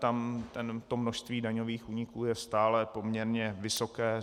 Tam to množství daňových úniků je stále poměrně vysoké.